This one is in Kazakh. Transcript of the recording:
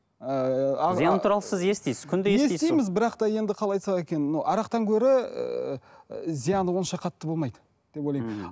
ыыы зияны туралы сіз естисіз бірақ та енді қалай айтсақ екен арақтан гөрі ііі зияны онша қатты болмайды деп ойлаймын мхм